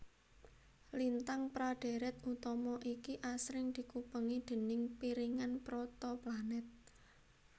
Lintang pra dhèrèt utama iki asring dikupengi déning piringan protoplanet